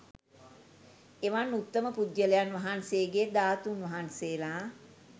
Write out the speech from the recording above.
එවන් උත්තම පුද්ගලයන් වහන්සේගේ ධාතූන් වහන්සේලා